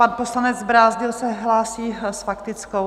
Pan poslanec Brázdil se hlásí s faktickou?